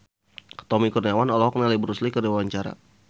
Tommy Kurniawan olohok ningali Bruce Lee keur diwawancara